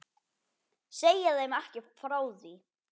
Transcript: Segi þeim ekki frá því.